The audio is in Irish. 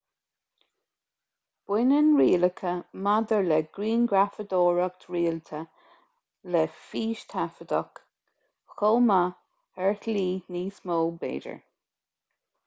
baineann rialacha maidir le grianghrafadóireacht rialta le fístaifeadadh chomh maith ar shlí níos mó b'fhéidir